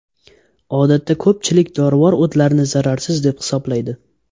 Odatda ko‘pchilik dorivor o‘tlarni zararsiz deb hisoblaydi.